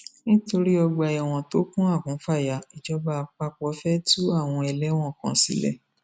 nítorí ọgbà ẹwọn tó kún àkúnfàyà ìjọba àpapọ fẹẹ tú àwọn ẹlẹwọn kan sílẹ